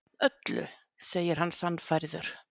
Öllu, segir hann sannfærður.